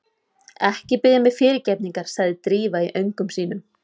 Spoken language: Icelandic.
Ekki biðja mig fyrirgefningar sagði Drífa í öngum sínum.